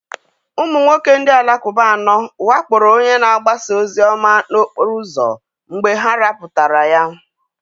Ụmụ nwoke ndị Alakụba anọ wakporo onye na-agbasa ozi ọma n'okporo ụzọ mgbe ha rapụtara ya.